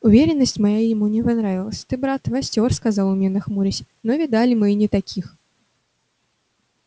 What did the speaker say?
уверенность моя ему не понравилась ты брат востёр сказал он мне нахмурясь но видали мы и не таких